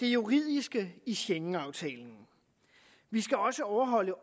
det juridiske i schengenaftalen vi skal også overholde